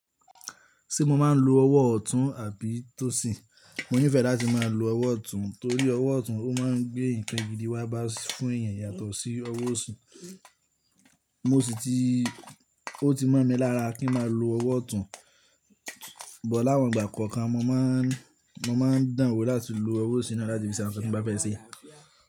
Ṣé mo máa ń lo ọwọ́ ọ̀tún àbí tósì? Mo nífẹ̀ẹ́ láti máa lo ọwọ́ ọ̀tún torí ọwọ́ ọ̀tún ó máa ń gbé nǹkan gidi wá bá fún èèyàn yàtọ̀ sí ọwọ́ òsì. Mo sì ti, ó ti mọ̀ mi lára kí n máa lo ọwọ́ ọ̀tún, bo láwọn ìgbà kọ̀ọ̀kan mo maá ń, mo maá ń dànwò láti lo ọwọ́ òsì na láti fi ṣe awon tí n bá fẹ́ ṣe.